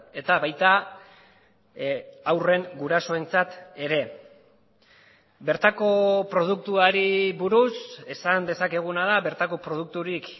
eta baita haurren gurasoentzat ere bertako produktuari buruz esan dezakeguna da bertako produkturik